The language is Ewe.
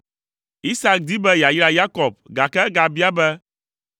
Isak di be yeayra Yakob, gake egabia be,